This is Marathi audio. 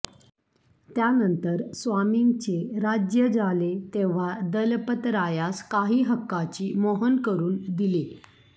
त्यानंतर स्वामीचें राज्य जालें तेव्हां दलपतरायास कांहीं हक्काची मोहन करून दिल्ही